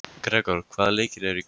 Gregor, hvaða leikir eru í kvöld?